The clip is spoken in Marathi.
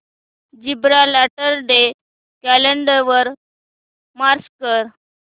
जिब्राल्टर डे कॅलेंडर वर मार्क कर